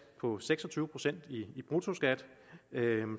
på seks og tyve procent i bruttoskat